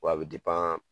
Wa a bɛ